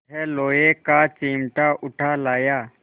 यह लोहे का चिमटा उठा लाया